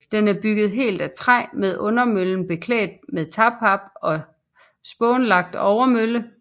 Den er bygget helt af træ med undermøllen beklædt med tagpap og spånlagt overmølle